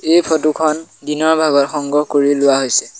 এই ফটো খন দিনৰ ভাগত সংগ্ৰহ কৰি লোৱা হৈছে।